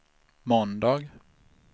måndag